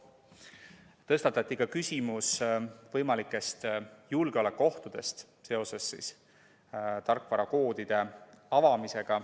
Tõstatati ka küsimus võimalikest julgeolekuohtudest seoses tarkvarakoodide avamisega.